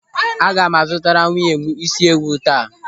Aga m a zụtara nwunye m isi ewu taa.